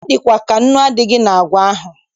Ọ dịkwa ka nnu adịghị na àgwà ahụ.